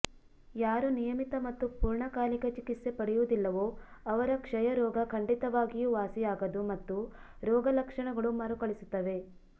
ಯಾರು ನಿಯಮಿತ ಮತ್ತು ಪೂರ್ಣಕಾಲಿಕ ಚಿಕಿತ್ಸೆ ಪಡೆಯುವುದಿಲ್ಲವೋ ಅವರ ಕ್ಷಯ ರೋಗ ಖಂಡಿತವಾಗಿಯೂ ವಾಸಿಯಾಗದು ಮತ್ತು ರೋಗ ಲಕ್ಷಣಗಳು ಮರುಕಳಿಸುತ್ತವೆ